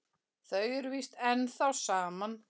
Þau eru víst ennþá saman.